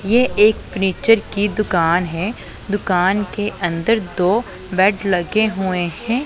ये एक फर्नीचर की दुकान है दुकान के अंदर दो बेड लगे हुए हैं।